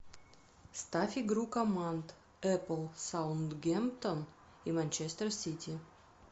ставь игру команд апл саутгемптон и манчестер сити